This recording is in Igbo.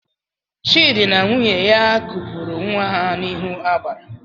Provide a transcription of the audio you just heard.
Chidi na nwunye ha kupuru nwa ha n'ihu agbara